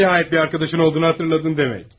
Nəhayət bir dostun olduğunu xatırladın demək.